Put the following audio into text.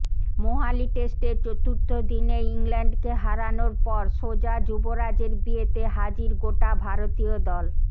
মোহালি টেস্টের চতুর্থ দিনেই ইংল্যান্ডকে হারানোর পর সোজা যুবরাজের বিয়েতে হাজির গোটা ভারতীয় দল